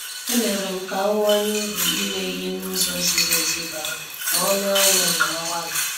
E merem ka ahuwanye uru ime ihe n' ụzọ ziri ezi bara ma ọnụ ahịa na mgbalị.